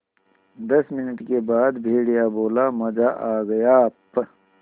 दस मिनट के बाद भेड़िया बोला मज़ा आ गया प्